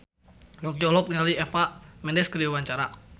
Yongki olohok ningali Eva Mendes keur diwawancara